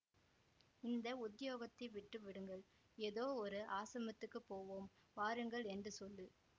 இந்த உத்தியோகத்தை விட்டு விடுங்கள் எதோ ஒரு ஆசிரமத்துக்குப் போவோம் வாருங்கள் என்று சொல்லு